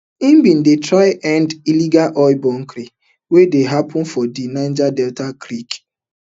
hin bin dey try end illegal oil bunkering wey dey happun for di niger delta creeks